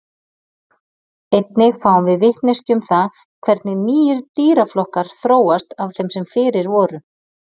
Einnig fáum við vitneskju um það hvernig nýir dýraflokkar þróast af þeim sem fyrir voru.